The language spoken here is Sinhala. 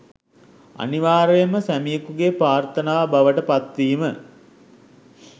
අනිවාර්යෙන්ම සැමියකුගේ ප්‍රාර්ථනාව බවට පත්වීම